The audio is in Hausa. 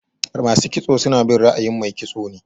Masu kitso suna bin ra'ayin Mai kitso ne.